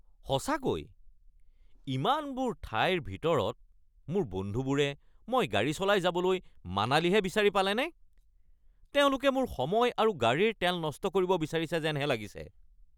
সঁচাকৈ, ইমানবোৰ ঠাইৰ ভিতৰত মোৰ বন্ধুবোৰে মই গাড়ী চলাই যাবলৈ মানালীহে বিচাৰি পালেনে? তেওঁলোকে মোৰ সময় আৰু গাড়ীৰ তেল নষ্ট কৰিব বিচাৰিছে যেনহে লাগিছে!